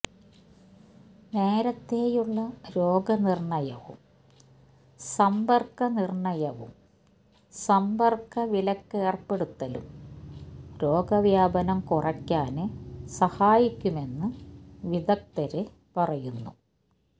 നേരത്തെയുള്ള രോഗനിര്ണയവും സമ്പര്ക്കനിര്ണയവും സമ്പര്ക്കവിലക്കേര്പ്പെടുത്തലും രോഗവ്യാപനം കുറയ്ക്കാന് സഹായിക്കുമെന്ന് വിദഗ്ധര് പറയുന്നു